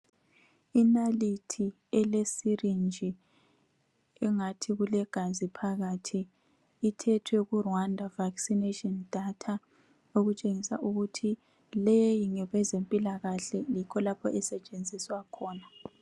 Inalithi elesirinji engathi kulegazi phakathi ithethwe kuRwanda Vaccination Data okutshengisa ukuthi leyi ngeyezempilakahle yikho okusetshenziswa khona.